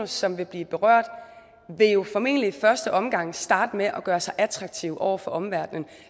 som vil blive berørt formentlig i første omgang vil starte med at gøre sig attraktive over for omverdenen